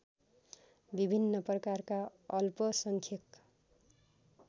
विभिन्न प्रकारका अल्पसंख्यक